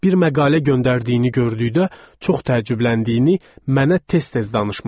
Bir məqalə göndərdiyini gördükdə çox təəccübləndiyini mənə tez-tez danışmışdı.